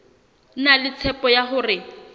na le tshepo ya hore